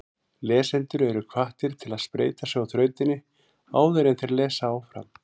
Lesendur eru hvattir til að spreyta sig á þrautinni áður en þeir lesa áfram.